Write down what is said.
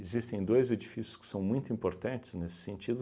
Existem dois edifícios que são muito importantes nesse sentido.